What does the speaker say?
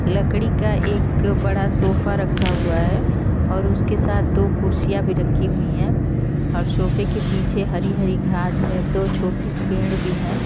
लकड़ी का एक बड़ा सोफ़ा रखा हुआ है और उसके साथ दो कुर्सियां भी रखी हुई हैं और सोफ़े के पीछे हरी-हरी घास है। दो छोटे पेड़ भी हैं।